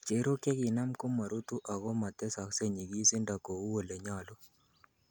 Chererok chekinam komorutu ako motesokse nyigisindo kou olenyolu.